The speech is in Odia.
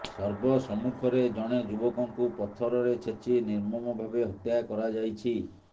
ସର୍ବ ସମ୍ମୁଖରେ ଜଣେ ଯୁବକଙ୍କୁ ପଥରରେ ଛେଚି ନିର୍ମମ ଭାବେ ହତ୍ୟା କରାଯାଇଛି